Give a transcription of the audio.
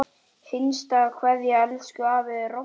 HINSTA KVEÐJA Elsku afi Robbi.